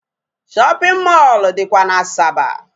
Shopping mall dịkwa n'Asaba.